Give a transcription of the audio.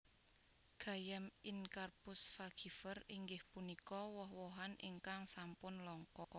Gayam Incarpus fagifer inggih punika woh wohan ingkang sampun langka